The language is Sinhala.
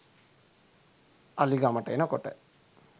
අලි ගමට එනකොට